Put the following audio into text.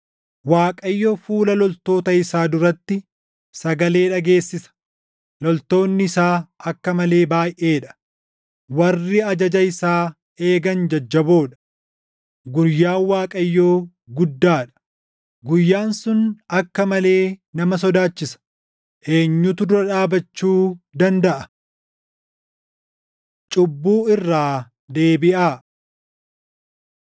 Waaqayyo fuula loltoota isaa duratti sagalee dhageessisa; loltoonni isaa akka malee baayʼee dha; warri ajaja isaa eegan jajjaboo dha. Guyyaan Waaqayyoo guddaa dha; guyyaan sun akka malee nama sodaachisa. Eenyutu dura dhaabachuu dandaʼa? Cubbuu Irraa Deebiʼaa